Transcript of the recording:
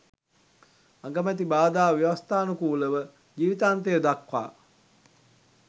අගමැති බාධා ව්‍යවස්ථානුකූලව ජීවිතාන්තය දක්වා